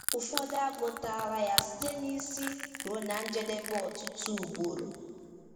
Ụfọdụ agụtala ya site n’isi ruo na njedebe ọtụtụ ugboro.